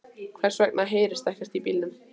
Hvers vegna heyrist ekkert í bílunum?